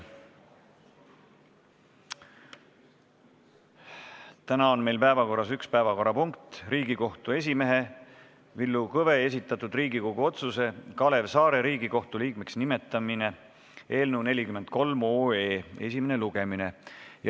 Täna on meil päevakorras üks päevakorrapunkt: Riigikohtu esimehe Villu Kõve esitatud Riigikogu otsuse "Kalev Saare Riigikohtu liikme ametisse nimetamine" eelnõu 43 esimene lugemine.